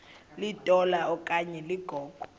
litola okanye ligogo